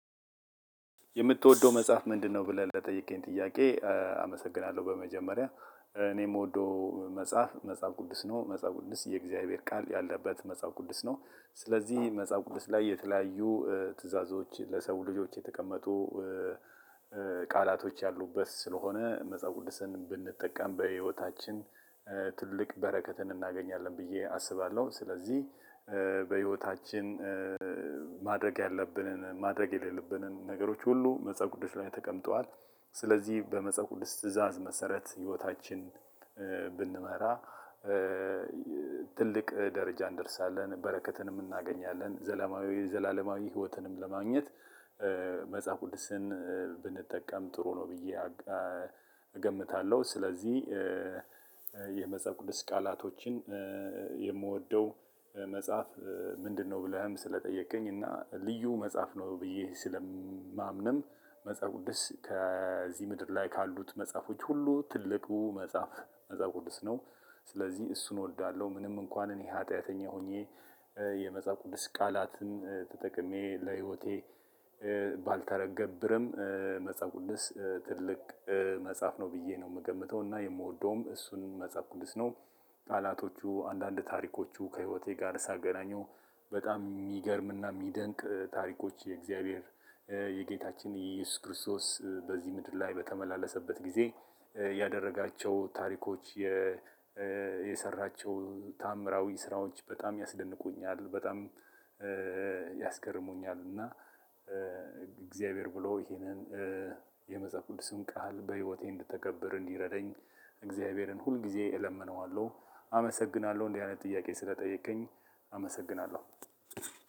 የምትወደው መጽሐፍ ምንድነው ብለህ ለጠየከኝ ጥያቄ? አመሰግናለሁ በመጀመሪያ እኔ የምወደው መጽሐፍ መጽሐፍ ቅዱስ ነው። መጽሐፍ ቅዱስ የእግዚአብሔር ቃል ያለበት መጽሐፍ ቅዱስ ነው። ስለዚህ መጽሐፍ ቅዱስ ላይ የተለያዩ ትዕዛዞች ለሰው ልጆች የተቀመጡ። ቃላቶች ያሉበት ስለሆነ መጽሐፍ ቅዱስን ብንጠቀም በህይወታችን ትልቅ በረከትን እናገኛለን ብዬ አስባለሁ። ስለዚህ በህይወታችን ማድረግ ያለብንን ማድረግ የሌለብንን ነገሮች ሁሉ መጸሃፍ ቅዱስ ላይ ተቀምጧል። ስለዚህ በመጸሃፍ ቅዱስ ትእዛዝ መሰረት ህይወታችን ብንመራ። ትልቅ ደረጃ እንደርሳለን በረከትንም እናገኛለን ዘላማዊ ዘላለማዊ ህይወትንም ለማግኘት። መጽሐፍ ቅዱስን ብንጠቀም ጥሩ ነው ብዬ እገምታለሁ። ስለዚህ የመጽሐፍ ቅዱስ ቃላቶችን የምወደው መጽሐፍ ምንድነው? ብለህም ስለጠየከኝ እና ልዩ መጽሐፍ ነው ብዬ ስለማምንም መጽሐፍ ቅዱስ ከዚህ ምድር ላይ ካሉት መጽሐፎች ሁሉ ትልቁ መጽሐፍ መጽሐፍ ቅዱስ ነው። ስለዚህ እሱን እወዳዋለሁ። ምንም እንኳን እኔ ሀጢያተኛ ሆኜ የመጽሐፍ ቅዱስ ቃላትን ተጠቅሜ ለህይወቴ ባልተገብርም። መጽሐፍ ቅዱስ ትልቅ መጽሐፍ ነው ብየ ነው የምገምተው እና የምወደውም እሱን መጽሐፍ ቅዱስ ነው። ቃላቶቹ አንዳንድ ታሪኮቹ ከህይወቴ ጋር ሳገናኘው በጣም የሚገርም እና የሚደንቅ ታሪኮች የእግዚአብሔር የጌታችን ኢየሱስ ክርስቶስ በዚህ ምድር ላይ በተመላለሰበት ጊዜ ያደረጋቸው ታሪኮች። የሰራቸው ተአምራዊ ስራዎች በጣም ያስደንቁኛል። በጣም ያስገርሙኛል። እና እግዚአብሔር ብሎ ይሄንን የመጽሐፍ ቅዱስን ቃል በህይወቴ እንድተገብር እንዲረደኝ እግዚአብሔርን ሁልጊዜ እለምነዋለሁ። አመሰግናለሁ እንዲህ አይነት ጥያቄ ስለጠየቀኝ አመሰግናለሁ።